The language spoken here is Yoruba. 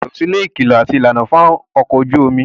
o gbúdọ̀ sàbẹ̀wò si ilé ìkìlọ̀ àti ìlànà fún ọkọ̀ ojú omi.